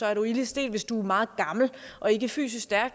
er du ilde stedt og hvis du er meget gammel og ikke er fysisk stærk